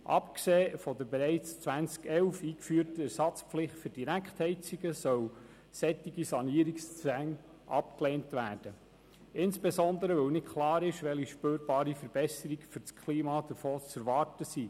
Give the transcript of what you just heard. Abgesehen von der bereits 2011 eingeführten Ersatzpflicht für Direktheizungen sollen solche Sanierungszwänge abgelehnt werden, weil insbesondere nicht klar ist, welche spürbaren Verbesserungen für das Klima davon zu erwarten sind.